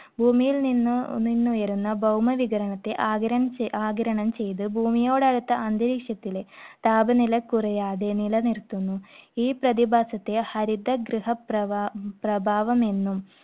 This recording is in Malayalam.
ഭൂമിയിൽ നിന്നു~ നിന്നുയരുന്ന ഭൗമവികിരണത്തെ ആഗിരണം ചെ~ ആഗിരണം ചെയ്ത് ഭൂമിയോട് അടുത്ത അന്തരീക്ഷത്തിലെ താപനില കുറയാതെ നിലനിർത്തുന്നു. ഈ പ്രതിഭാസത്തെ ഹരിതഗൃഹപ്രഭാ~പ്രഭാവം എന്നും